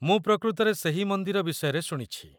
ମୁଁ ପ୍ରକୃତରେ ସେହି ମନ୍ଦିର ବିଷୟରେ ଶୁଣିଛି।